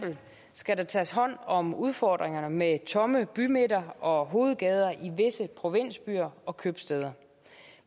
skal der tages hånd om udfordringerne med tomme bymidter og hovedgader i visse provinsbyer og købstæder